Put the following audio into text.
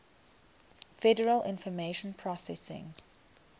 federal information processing